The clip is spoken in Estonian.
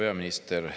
Hea peaminister!